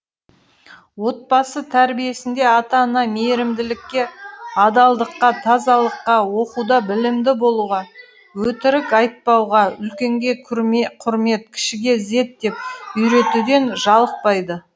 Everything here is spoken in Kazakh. отбасы тәрбиесінде ата ана мейірімділікке адалдыққа тазалыққа оқуда білімді болуға өтірік айтпауға үлкенге құрмет кішіге ізет деп үйретуден жалықпайды